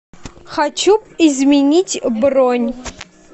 хочу изменить бронь